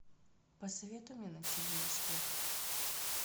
посоветуй мне на тв успех